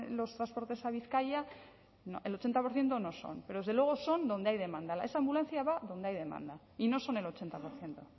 los dos puertos a bizkaia no el ochenta por ciento no son pero desde luego son donde hay demanda esa ambulancia va donde hay demanda y no son el ochenta por ciento